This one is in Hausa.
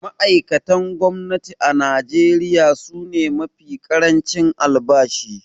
Ma’aikatan gwamnati a Najeriya su ne mafi ƙarancin albashi.